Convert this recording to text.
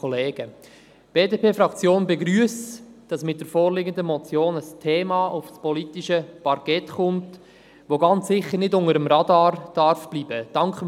Die BDP-Fraktion begrüsst, dass mit der vorliegenden Motion, ein Thema auf das politische Parkett kommt, das ganz sicher nicht unter dem Radar bleiben darf.